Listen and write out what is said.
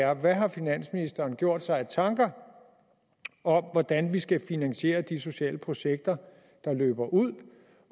er hvad har finansministeren gjort sig af tanker om hvordan vi skal finansiere de sociale projekter der løber ud